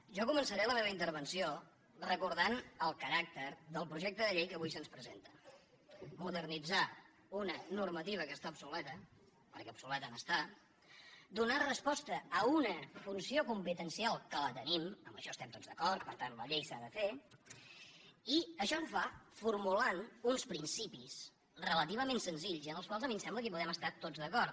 jo començaré la meva intervenció recordant el caràcter del projecte de llei que avui se’ns presenta modernitzar una normativa que està obsoleta perquè d’obsoleta n’està donar resposta a una funció competencial que la tenim en això estem tots d’acord per tant la llei s’ha de fer i això ho fa formulant uns principis relativament senzills i amb els quals a mi em sembla que podem estar tots d’acord